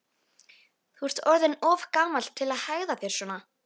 Þú ert orðinn of gamall til að hegða þér svona.